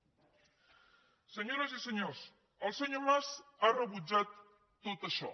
senyores i senyors el senyor mas ha rebutjat tot això